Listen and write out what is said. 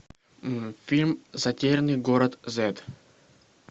фильм затерянный город зет